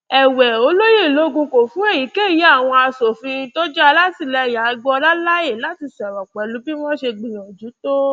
èwe ọlẹyẹlògún kò fún èyíkéyí àwọn asòfin tó jẹ alátìlẹyìn agboola láàyè láti sọrọ pẹlú bí wọn ṣe gbìyànjú tó